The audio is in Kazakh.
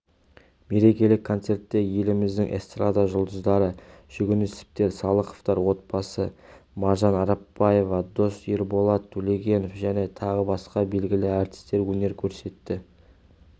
мерекелік концертте еліміздің эстрада жұлдыздары жүгінісовтер салықовтар отбасы маржан арапбаева дос ерболат төлегенов және тағы басқа белгілі әртістер өнер көрсетті